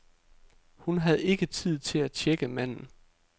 Hun havde ikke tid til at tjekke manden.